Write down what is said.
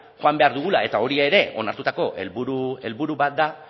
joan behar dugula eta hori ere onartutako helburu bat da